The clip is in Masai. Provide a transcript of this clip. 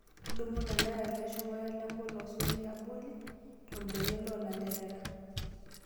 Tudumu ilanterera leshumata ,lepolos oliabori torbene loolanterera.